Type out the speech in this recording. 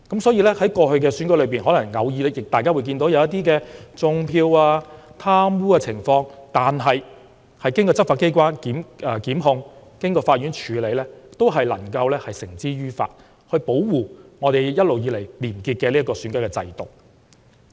所以，在過去的選舉中，大家偶然看見"種票"和貪污的情況，但經執法機關檢控及法院處理後，均能將違法者繩之於法，保護香港一直以來廉潔的選舉制度。